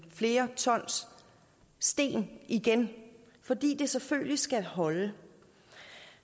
flere tons sten igen fordi det selvfølgelig skal holde